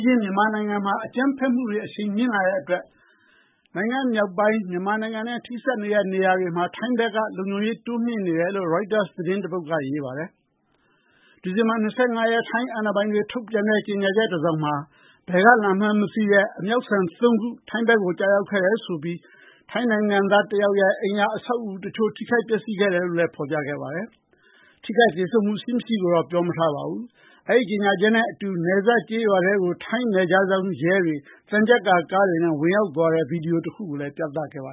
ချင်း မြန်မာနိုင်ငံမှာ အကြမ်းဖက်မှု အရှိန်မြင့်လာတဲ့အတွက် မြန်မာနဲ့ ထိစပ်နေတဲ့ မြောက်ပိုင်းနယ်စပ်မှာ ထိုင်းဘက်က လုံခြုံရေး တိုးမြှင့်ထားတယ်လို့ ရိုက်တာသတင်း တပုဒ်မှာ ရေးထားပါတယ်။ ဒီဇင်ဘာ ၂၅ ရက်က ထိုင်းအာဏာပိုင်တွေ ထုတ်ပြန်တဲ့ ကြေညာချက်တစောင်မှာတော့ ဘယ်ကလာမှန်းမသိတဲ့ အမြောက်ဆန် ၃ ခု ထိုင်းဘက်မှာ ကျရောက်ခဲ့ပြီး ထိုင်းနိုင်ငံသားတယောက်ရဲ့ အိမ်အဆောက်အဦတခု ထိမှန်ပျက်စီးမှု ရှိခဲ့တယ်လို့ ဖော်ပြထားပေမယ့် ထိခိုက်သေဆုံးမှု ရှိမရှိကိုတော့ မပြောထားပါဘူး။ အဲဒီကြေညာချက်နဲ့အတူ ထိုင်းနယ်ခြားစောင့်ရဲတွေ သံချပ်ကာကားတွေနဲ့ ဝင်ရောက်သွားတဲ့ ဗွီဒီယိုတခုကိုလည်း ပြသခဲ့ပါ